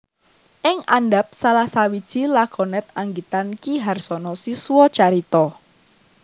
Ing andhap salah sawiji lakonet anggitan Ki Harsono Siswocarito